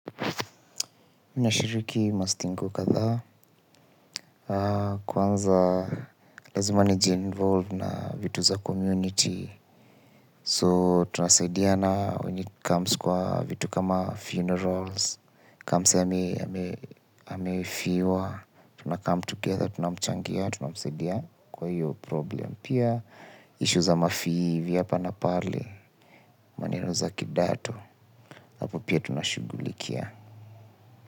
Mi nashiriki Masting kadhaa. Kwanza, lazima nijinvolve na vitu za community. So, tuna saidiana when it comes kwa vitu kama funerals. Ka msee amefiwa. Tunakam together, tunamchangia, tunamsaidia kwa hiyo problem. Pia, ishu za mafii vya apa na pale, maneno za kidato hapo pia tunashugulikia.